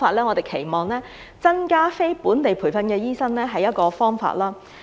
我們期望增加非本地培訓的醫生，這是一個方法。